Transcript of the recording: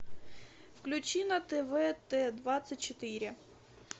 включи на тв т двадцать четыре